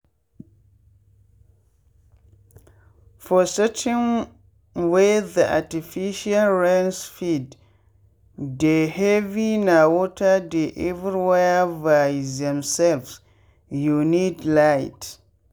for setting wey the artificial rain speed dey heavyna water dey everywhere by themselvesyou need light.